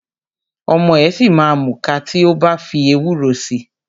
Ọmọ ẹ̀ ṣìma múka tí o bá fi ewúro si.